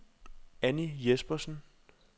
Annie Jespersen